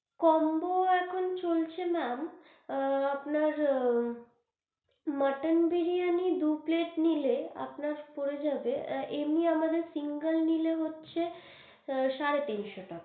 Combo এখন চলছে maam আআ আপনার আআ মটন বিরিয়ানি দু plate নিলে আপনার হয়ে যাবে, এমনি আমাদের single নিলে হচ্ছে সাড়ে তিনশো টাকা।